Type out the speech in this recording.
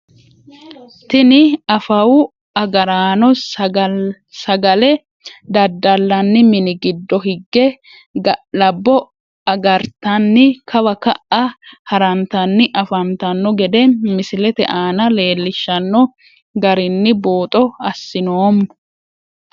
Tini afawu agaraano sagale dadalani mini gidoo higge ga`labbo agartani kawa ka`a harantani afantano gede misilete aana leelishano garinni buuxo asinoomo.